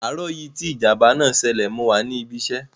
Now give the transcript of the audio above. Àárọ̀ yìí tí ìjàm̀bá náà ṣẹlẹ̀ mo wà ní ibi iṣẹ́.